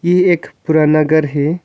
यह एक पुराना घर है।